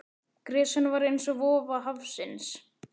Gresjan var eins og vofa hafsins.